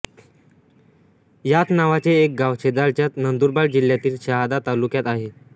याच नावाचे एक गाव शेजारच्याच नंदुरबार जिल्ह्यातील शहादा तालुक्यात आहे